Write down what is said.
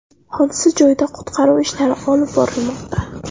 Hodisa joyida qutqaruv ishlari olib borilmoqda.